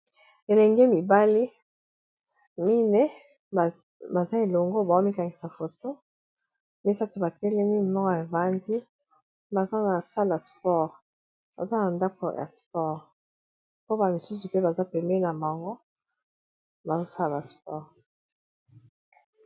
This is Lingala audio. Elenge mibali mine baza elongo bazo mikangisa foto misato batelemi moko ya evandi, baza ko sala sport baza na ndako ya sport, mpo bamisusu mpe baza peme na bango bazosala sport.